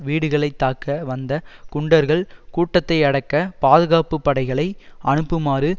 வீடுகளைத் தாக்க வந்த குண்டர்கள் கூட்டத்தை அடக்கப் பாதுகாப்பு படைகளை அனுப்பமாறு